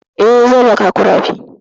Eh, zan raka ku rafi.